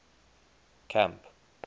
camp